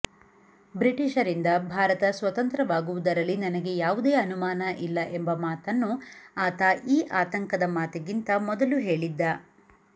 ಬ್ರಿಟಿಷರಿಂದ ಭಾರತ ಸ್ವತಂತ್ರವಾಗುವುದರಲ್ಲಿ ನನಗೆ ಯಾವುದೇ ಅನುಮಾನ ಇಲ್ಲ ಎಂಬ ಮಾತನ್ನೂ ಆತ ಈ ಆತಂಕದ ಮಾತಿಗಿಂತ ಮೊದಲು ಹೇಳಿದ್ದ